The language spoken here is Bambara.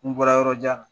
N bɔra yɔrɔ jan na